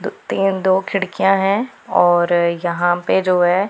अह तीन दो खिड़कियां हैं और यहां पे जो है।